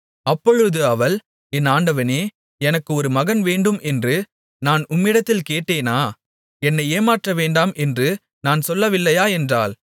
அப்பொழுது அவள் என் ஆண்டவனே எனக்கு ஒரு மகன் வேண்டும் என்று நான் உம்மிடத்தில் கேட்டேனா என்னை ஏமாற்றவேண்டாம் என்று நான் சொல்லவில்லையா என்றாள்